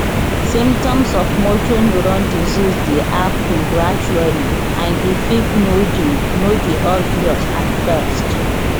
symptoms of motor neurone disease dey happun gradually and e fit no dey no dey obvious at first